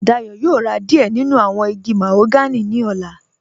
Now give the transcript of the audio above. Dayọ̀ yóò rá díẹ̀ nínu awọn igi màhóganì ní ọ̀là.